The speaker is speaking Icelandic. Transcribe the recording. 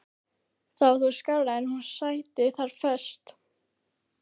Það var þó skárra en hún sæti þar föst.